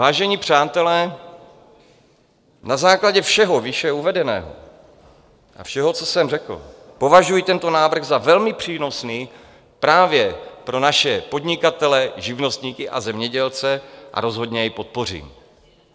Vážení přátelé, na základě všeho výše uvedeného a všeho, co jsem řekl, považuji tento návrh za velmi přínosný právě pro naše podnikatele, živnostníky a zemědělce a rozhodně jej podpořím.